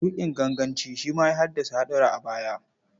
Tuƙin ganganci shi ma ya haddasa haɗura a baya.